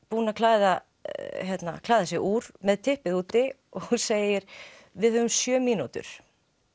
búinn að klæða klæða sig úr með typpið úti og segir við höfum sjö mínútur